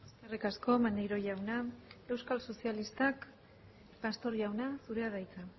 eskerrik asko maneiro jauna euskal sozialistak pastor jauna zurea da hitza